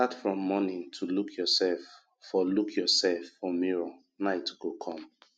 start from morning to look yourself for look yourself for mirror night go come